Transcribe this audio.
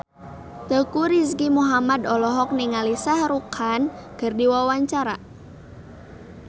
Teuku Rizky Muhammad olohok ningali Shah Rukh Khan keur diwawancara